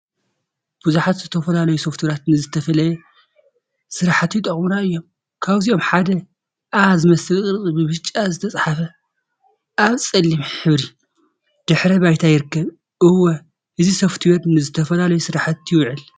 ቡዙሓት ዝተፈላለዩ ሶፍትዌራት ንዝተፈላለየ ስራሕቲ ይጠቅሙና እዮም፡፡ ካብዚኦም ሓደ ኣ ዝመስል ቅርፂ ብብጫ ዝተፀሓፈት አብ ፀሊም ሕብሪ ድሕረ ባይታ ይርከብ፡፡ እወ! እዚ ሶፍትዌር ንዝተፈላለዩ ስራሕቲ ይውዕል፡፡